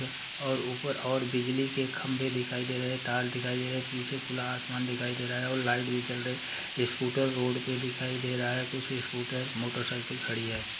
और ऊपर और बिजली के खम्बे दिखाई दे रहे है तार दिखाई दे रहे है पीछे खुला आसमान दिखाई दे रहा है और लाइट भी जल रही स्कूटर रोड पे दिखाई दे रहा है कुछ स्कूटर मोटर साइकिल खड़ी है। |